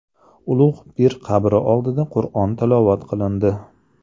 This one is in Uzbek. Ulug‘ pir qabri oldida Qur’on tilovat qilindi.